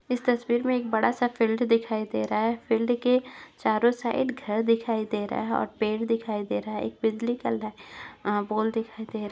इस तस्वीर मे एक बड़ा सा फिल्ड दिखाई दे रहा है फिल्ड के चारों साइड घर दिखाई दे रहा है और पेड़ दिखाई दे रहा है एक बिजली का पोल दिखाई दे रहा है।